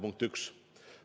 Punkt üks.